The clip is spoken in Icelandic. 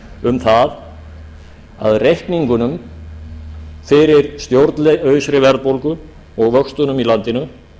um það að reikningana fyrir stjórnlausri verðbólgu og vöxtunum í landinu